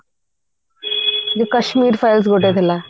ଯୋଉ କାଶ୍ମୀର files ଗୋଟେ ଥିଲା